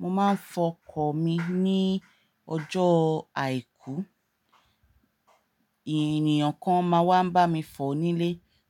Mo máa ń fọ ọkọ̀ mi ní ọjọ́ àìkú. Ènìyàn kan máa wá ń bá mi fọ̀ nílé